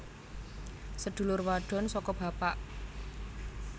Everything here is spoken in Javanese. Sedulur wadon saka bapak